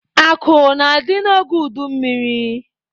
Akụ na-adị n'oge udummiri.